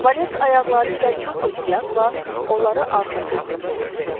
Valet ayaqları ilə çox ehtiyatla onları arxası üstə çevirdi.